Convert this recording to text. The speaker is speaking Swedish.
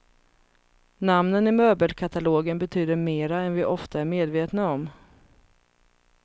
Namnen i möbelkatalogen betyder mera än vi ofta är medvetna om.